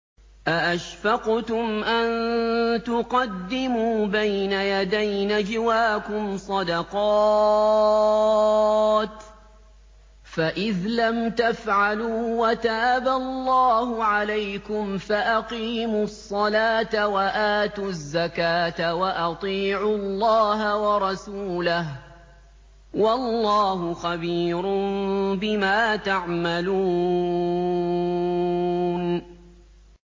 أَأَشْفَقْتُمْ أَن تُقَدِّمُوا بَيْنَ يَدَيْ نَجْوَاكُمْ صَدَقَاتٍ ۚ فَإِذْ لَمْ تَفْعَلُوا وَتَابَ اللَّهُ عَلَيْكُمْ فَأَقِيمُوا الصَّلَاةَ وَآتُوا الزَّكَاةَ وَأَطِيعُوا اللَّهَ وَرَسُولَهُ ۚ وَاللَّهُ خَبِيرٌ بِمَا تَعْمَلُونَ